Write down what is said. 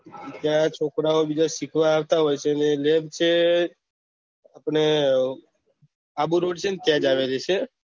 એટલે આ છોકરાઓ બીજા સીખવા આવતા હોય તો એને નેમ છે આપળે આબુ રોડ જયીયે ત્યાંજ આવી રેહ